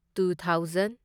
two thousand